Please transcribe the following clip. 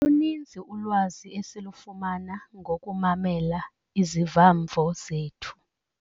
Luninzi ulwazi esilufumama ngokumamela iziva-mvo zethu.